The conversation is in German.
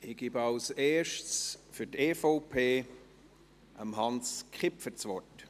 Ich erteile als Erstes für die EVP Hans Kipfer das Wort.